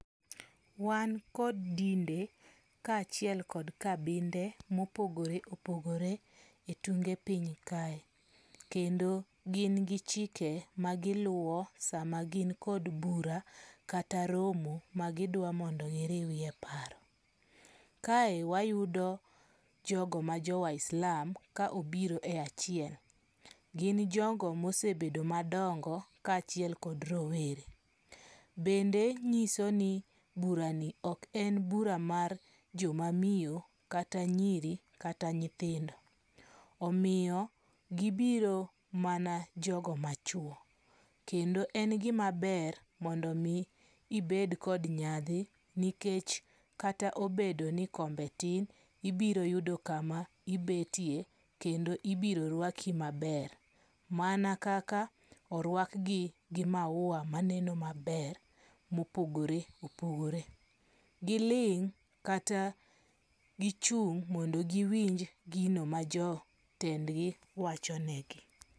Wan kod dinde ka achiel kod kabinde mopogore opogore e tunge piny kae. Kendo gin gi chike ma giluwo sama gin kod bura kata romo magidwa giriewe paro. Kae wayudo jogo ma jo waislam ka obiro e achiel. Gin jogo mosebedo madongo ka achiel kod rowere. Bende nyiso ni bura ni ok en bura mar joma miyo kata nyiri kata nyithindo. Omiyo gibiro mana jogo machuo. Kendo en gima ber mondo mi ibed kod nyadhi nikech kata obedo ni kombe tin, ibiro yudo kama ibetie kendo ibiro rwaki maber. Mana kaka orwak gi gi maua maneno maber mopogore opogore. Giling' kata gichung' mondo giwinj gino ma jotend gi wacho negi.